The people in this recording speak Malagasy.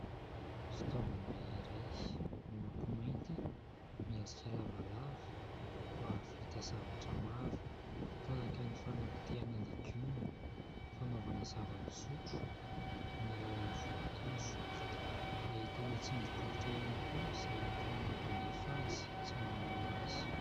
Fitaovana iray : miloko mainty, miendrika lavalava, mahavita zavatra maro tahaka ny fanapotehana legioma, fanaovana zava-pisotro amin'ny alalany voankazo, ahitana tsindry bokotra ihany koa izay entina mampandefa azy sy mamono azy.